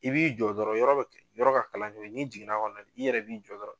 I b'i jɔ dɔrɔn yɔrɔ be yɔrɔ ka kalan n'o ye n'i jigin n'a kɔnɔ i yɛrɛ b'i jɔ dɔrɔn